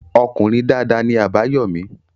Ọkùnrin dada ni Àbáyọ́mí.